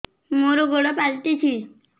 ମୋର ଗୋଡ଼ ପାଲଟିଛି